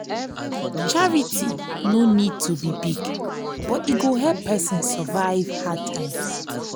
charity no need to be big but e go help person survive hard times.